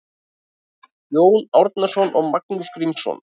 Jón Árnason og Magnús Grímsson